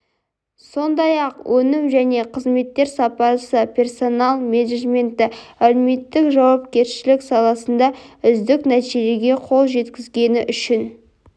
сондай-ақ өнім және қызметтер сапасы персонал менеджменті әлеуметтік жауапкершілік саласында үздік нәтижелерге қол жеткізгені үшін